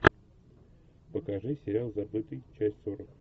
покажи сериал забытый часть сорок